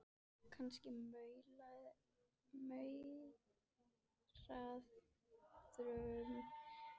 Kannski lumarðu á upplýsingum án þess að vita af því.